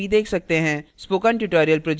spoken tutorial project team